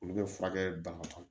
Olu bɛ furakɛ bana kɔnɔ